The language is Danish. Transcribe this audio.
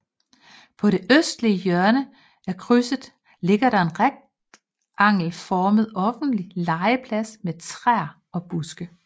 På det nordøstlige hjørne af krydset ligger der en rektangelformet offentlig legeplads med træer og buske